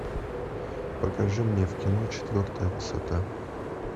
покажи мне в кино четвертая высота